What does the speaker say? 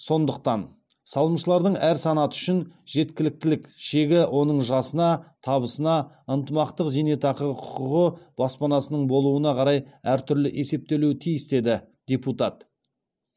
сондықтан салымшылардың әр санаты үшін жеткіліктілік шегі оның жасына табысына ынтымақтық зейнетақыға құқығы баспанасының болуына қарай әртүрлі есептелуі тиіс деді депутат